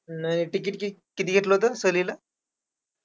अं ticket कि किती होतं सहलीला?